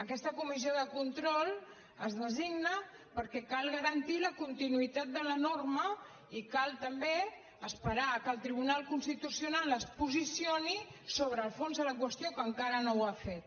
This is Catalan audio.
aquesta comissió de control es designa perquè cal garantir la continuïtat de la norma i cal també esperar que el tribunal constitucional es posicioni sobre el fons de la qüestió que encara no ho ha fet